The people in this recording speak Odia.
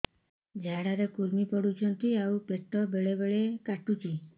ଝାଡା ରେ କୁର୍ମି ପଡୁଛନ୍ତି ଆଉ ପେଟ ବେଳେ ବେଳେ କାଟୁଛି